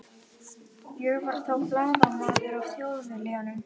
Ég var þá blaðamaður á Þjóðviljanum.